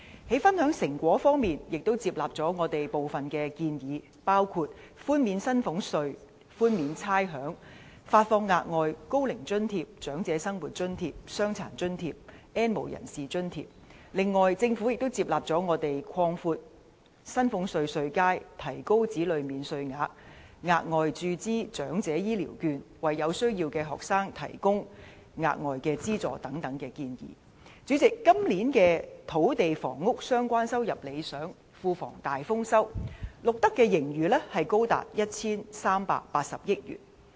在分享成果方面，司長亦接納了我們的部分建議，包括寬免薪俸稅和差餉、發放額外高齡津貼、長者生活津貼、傷殘津貼，以及發放 "N 無人士"津貼。此外，政府亦接納了我們的另一些建議，例如擴闊薪俸稅稅階、提高子女免稅額、額外注資長者醫療券計劃，以及為有需要的學生提供額外資助等。主席，今年與土地房屋有關的收入理想，庫房大豐收，錄得的盈餘高達 1,380 億元。